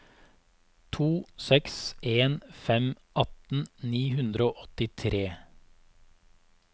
to seks en fem atten ni hundre og åttitre